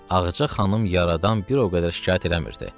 Ağca xanım yaradan bir o qədər şikayət eləmirdi.